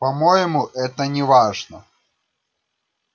по-моему это неважно